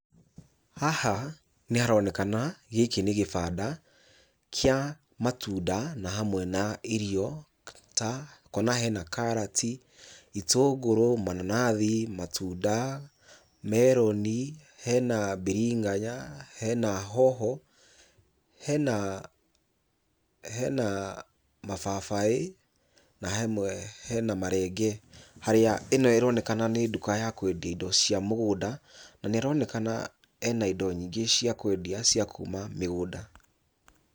Haha nĩharonekana gĩkĩ nĩ gĩbanda kĩa matunda na hamwe na irio ta, kuona hena karati, itũngũrũ, mananathi, matunda, meroni, hena mbiringanya, hena hoho, hena hena mababaĩ, na hamwe hena marenge. Harĩa ĩno ĩronekana nĩ nduka ya kwendio indo cia mũgũnda na nĩaronekana ena indo nyingĩ cia kwendia cia kuma mĩgũnda.